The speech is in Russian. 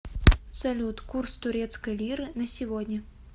салют курс турецкой лиры на сегодня